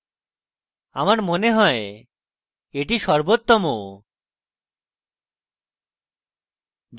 আমার মনে হয় এটি সর্বোত্তম